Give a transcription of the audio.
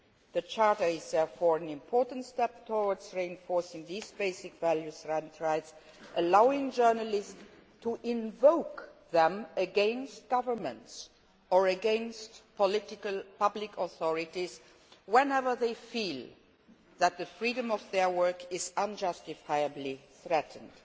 The charter is therefore an important step towards reinforcing these basic values and rights, allowing journalists to invoke them against governments or against political public authorities whenever they feel that the freedom of their work is unjustifiably threatened.